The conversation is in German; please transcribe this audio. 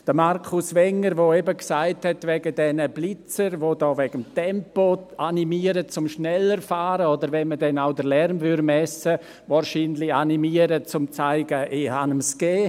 Markus Wenger hat von den Blitzern gesprochen, die wegen des Tempos animieren, schneller zu fahren, oder wenn man dann auch den Lärm messen würde, wahrscheinlich animieren würden, zu zeigen: «Dem hab ich’s gegeben.